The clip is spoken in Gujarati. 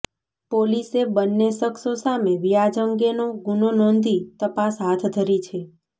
પોલીસે બંને શખ્સો સામે વ્યાજ અંગેનો ગુનો નોંધી તપાસ હાથધરી છે